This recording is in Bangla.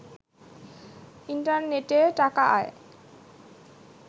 ইন্টারনেটে টাকা আয়